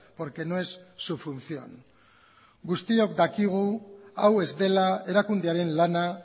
porque no es su función guztiok dakigu hau ez dela erakundearen lana